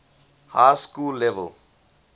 high school level